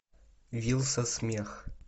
вилса смех